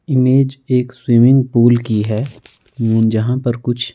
image एक swimming pool की है जहां पर कुछ--